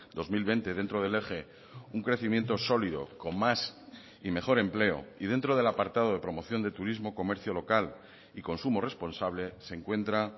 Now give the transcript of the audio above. dos mil veinte dentro del eje un crecimiento sólido con más y mejor empleo y dentro del apartado de promoción de turismo comercio local y consumo responsable se encuentra